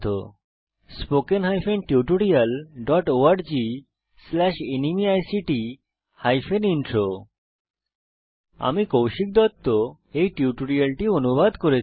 spoken hyphen tutorial dot org slash NMEICT hyphen intro আমি কৌশিক দত্ত টিউটোরিয়ালটি অনুবাদ করেছি